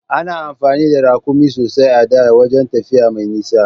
Ana amfani da Raƙumi sosai a da wajan tafiya mai nisa.